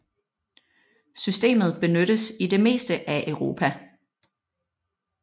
Systemet benyttes i det meste af Europa